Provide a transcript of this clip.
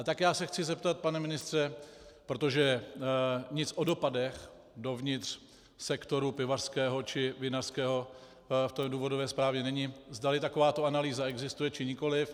A tak já se chci zeptat, pana ministře, protože nic o dopadech dovnitř sektoru pivařského či vinařského v té důvodové zprávě není, zdali takováto analýza existuje, či nikoliv.